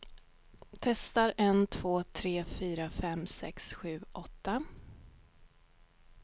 Testar en två tre fyra fem sex sju åtta.